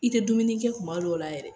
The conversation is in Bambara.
I te dumuni kɛ kuma dɔw la yɛrɛ